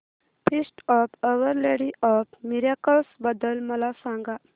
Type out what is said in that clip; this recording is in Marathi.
feast of Our Lady of Miracles बद्दल मला सांगा